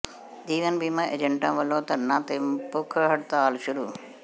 ਜੀਵਨ ਬੀਮਾ ਏਜੰਟਾਂ ਵੱਲੋਂ ਧਰਨਾ ਤੇ ਭੁੱਖ ਹੜਤਾਲ ਸ਼ੁਰੂ